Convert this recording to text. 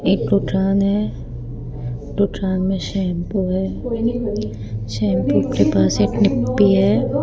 एक है दुकान में शैम्पू है शैम्पू के पास एक निपी है।